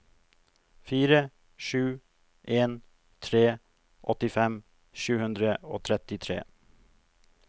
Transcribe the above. fire sju en tre åttifem sju hundre og trettitre